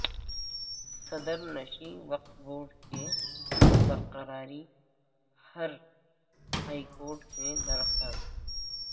صدرنشین وقف بورڈ کی برقراری پر ہائی کورٹ میں درخواست